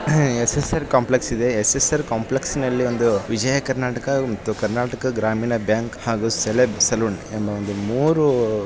SSR. Complex ಇದೆ. SSR. ಕಾಂಪ್ಲೆಕ್ಸ್ನಲ್ಲಿ ಒಂದು ವಿಜಯ ಕರ್ನಾಟಕ ಮತ್ತು ಕರ್ನಾಟಕ ಗ್ರಾಮೀಣ ಬ್ಯಾಂಕ್ ಹಾಗೂ ಸೆಲೆಬ್ ಸಲೂನ್ ಎಂಬ ಮೂರು --